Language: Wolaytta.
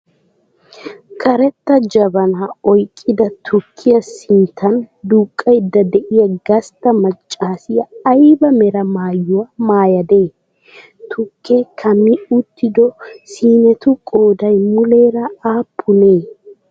Karetta jabanaa oyiqqada tukkiyaa siinetun duuqqayidda de'iyaa gastta maccaasiya ayiba mera maayuwaa maayadee? Tukkee kumi uttido siinetu qoodayii muleera aappunee?